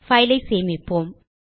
file ஐ சேமிப்போம்